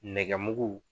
Nɛgɛmugu